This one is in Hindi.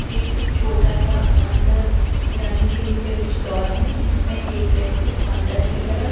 एक छोटा सा अंदर जाने के लिए प्रवेश द्वार है जिसमे एक व्यक्ति अंदर की तरफ --